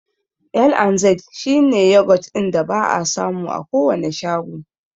L&Z shi ne yogurt ɗin da ba'a samu a kowane shago.